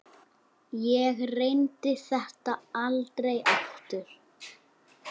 Ég reyndi þetta aldrei aftur.